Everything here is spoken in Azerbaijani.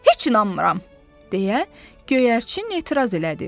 Heç inanmıram, deyə göyərçin etiraz elədi.